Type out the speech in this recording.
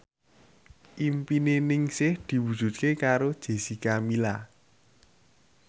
impine Ningsih diwujudke karo Jessica Milla